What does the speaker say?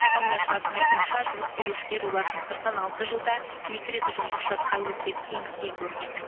ал мұнайшылардың айтуынша жұмыс берушілер олардың сыртынан алты жылда екі рет ұжымдық шартқа өзгеріс енгізген көрінеді